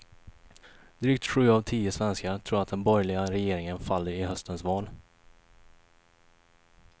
Drygt sju av tio svenskar tror att den borgerliga regeringen faller i höstens val.